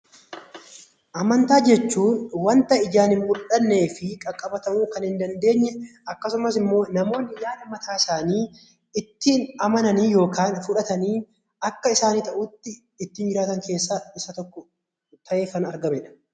Amantaa jechuun wanta ijaan hin mul'annee fi qaqqabatamuu kan hin dandeenye akkasumas immoo namoonni yaada mataa isaanii ittiin amananii yookaan fudhatanii akka isaaniif ta'utti ittiin jiraatan keessaa isa tokkodha.